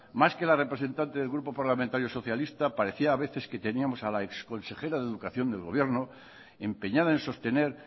más que la representante del grupo parlamentario socialista parecía a veces que teníamos a la exconsejera de educación del gobierno empeñada en sostener